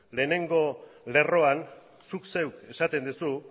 lehengo lerroan zuk zeuk esaten duzu